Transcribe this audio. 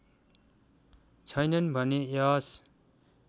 छैनन् भने यस